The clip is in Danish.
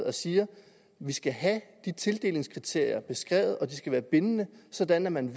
og siger vi skal have de tildelingskriterier beskrevet og de skal være bindende sådan at man